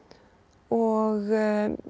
og